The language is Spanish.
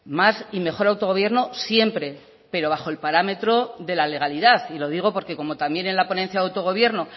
más y mejor autogobierno siempre pero bajo el parámetro de la legalidad y lo digo porque como también en la ponencia de autogobierno